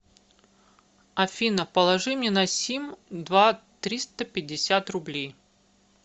афина положи мне на сим два триста пятьдесят рублей